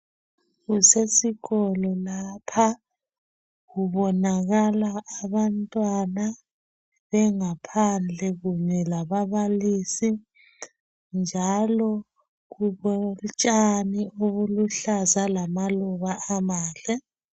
Kusesikolo lapha kubonakala abantwana bengaphandle kunye lababalisi njalo kulotshani obuluhlaza lamaluba aluhlaza.